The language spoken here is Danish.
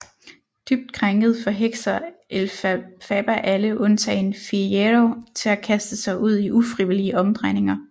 Dybt krænket forhekser Elphaba alle undtagen Fiyero til at kaste sig ud i ufrivillige omdrejninger